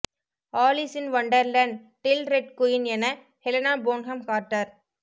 Alice in வொண்டர்லேண்டில் red queen என Helena Bonham Carter